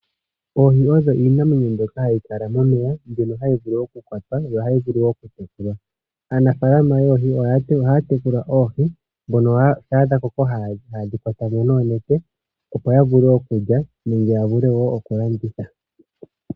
Oohi odho iinamwenyo mbyoka hayi kala momeya, mbyono hayi vulu okukwatwa yo ohayi vulu wo okutekulwa. Aanafalama yoohi ohaya tekula oohi mbono shampa dha koko haye dhi kwata mo noonete, opo ya vule okulya nenge ya vule wo okulanditha.